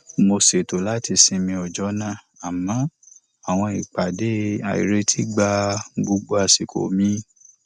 mo ṣètò láti sinmi ọjọ náà àmọ àwọn ìpàdé àìretí gba gbogbo àsìkò mi